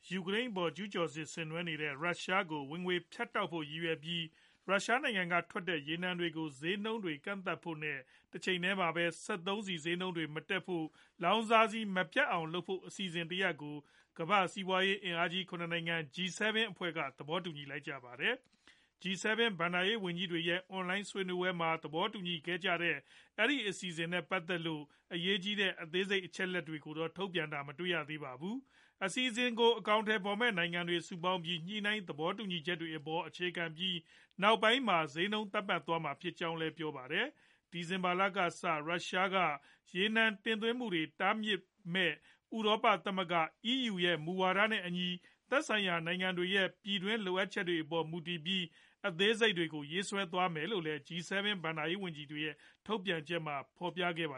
ယူကရိန်းအပေါ် ကျုးကျော်စစ် ဆင်နွှဲနေတဲ့ ရုရှားကို ဝင်ငွေဖြတ်တောက်ဖို့ ရည်ရွယ်ပြီး၊ ရုရှားနိုင်ငံကထွက်တဲ့ ရေနံတွေကို ဈေးနှုန်းတွေ ကန့်သတ်ဖို့နဲ့ တချိန်တည်းမှာ စက်သုံးဆီဈေးနှုန်းတွေ မတက်ဖို့ လောင်စာဆီမပြတ်အောင်လုပ်ဖို့ အစီအစဉ်တရပ်ကို ကမ္ဘာ့စီးပွားရေး အင်အားကြီး ၇ နိုင်ငံ G-7 အဖွဲ့က သဘောတူလိုက်ကြပါတယ်။ G-7 ဘဏ္ဍာရေးဝန်ကြီးတွေရဲ့ အွန်လိုင်းဆွေးနွေးပွဲမှာ သဘောတူခဲ့ကြတဲ့ အစီအစဉ်နဲ့ ပတ်သက်လို့ အရေးကြီးတဲ့ အသေးစိတ် အချက်အလက်တွေတော့ ထုတ်ပြန်ချက်မှာ မတွေ့ရပါဘူး။ အစီအစဉ်ကို အကောင်အထည်ဖော်မယ့် နိုင်ငံတွေ စုပေါင်းပြီး၊ ညှိနှိုင်းသဘောတူညီချက်တွေအပေါ် အခြေခံပြီး နောက်ပိုင်းမှာ ဈေးနှုန်းသတ်မှတ်သွားမှာ ဖြစ်ကြောင်းလည်း ပြောပါတယ်။ ဒီဇင်ဘာလကစ ရုရှားက ရေနံတင်သွင်းမှုတွေ တားမြစ်မယ့် ဥရောပသမဂ္ဂ (EU) ရဲ့ မူဝါဒတွေနဲ့အညီ သက်ဆိုင်ရာ နိုင်ငံတွေရဲ့ ပြည်တွင်းလိုအပ်ချက်တွေအပေါ် မူတည်ပြီး အသေးစိတ်တွေကို ရေးဆွဲသွားမယ်လို့လည်း G-7 ဘဏ္ဍာရေးဝန်ကြီးတွေရဲ့ ထုတ်ပြန်ချက်မှာ ဖော်ပြခဲ့တာပါ